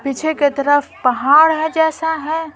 पीछे के तरफ पहाड़ है जैसा है।